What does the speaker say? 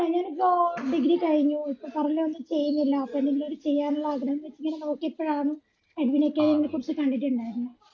അല്ലാ ഞാനിപ്പോ degree കഴിഞ്ഞു ഇപ്പൊ currently ഒന്നും ചെയ്യുന്നില്ല അപ്പൊ എന്തെങ്കിലൊരു ചെയ്യാനുള്ള ആഗ്രഹം വെച്ചിങ്ങനെ നോക്കിയപ്പോയാണ് എഡ്വിൻ അക്കാദമിയെ കുറിച്ച് കണ്ടിട്ടുണ്ടായിരുന്നെ.